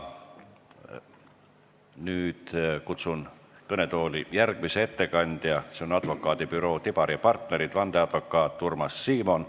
Nüüd kutsun kõnetooli järgmise ettekandja, advokaadibüroo Tibar & Partnerid vandeadvokaadi Urmas Simoni.